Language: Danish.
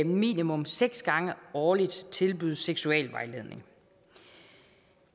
minimum seks gange årligt tilbydes seksualvejledning